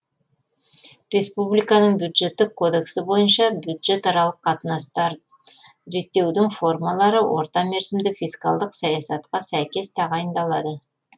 республиканың бюджеттік кодексі бойынша бюджетаралық қатынастар реттеудің формалары орта мерзімді фискалдық саясатқа сәйкес тағайындалады